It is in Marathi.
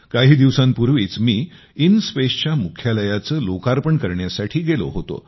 काही दिवसांपूर्वीच मी इनस्पेसच्या मुख्यालयाचे मी लोकार्पण करण्यासाठी गेलो होतो